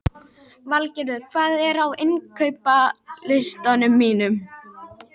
Eigi arfleifandi enga skylduerfingja er honum heimilt að ráðstafa öllum eignum sínum með erfðaskrá.